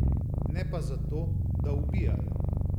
Ne pa zato, da ubijajo.